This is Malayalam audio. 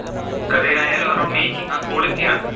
കഥയിൽ ആയാലും അവരുടെ making ആ quality ആണ്.